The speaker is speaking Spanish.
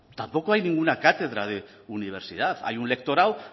tampoco hay ninguna cátedra de universidad hay un lectorado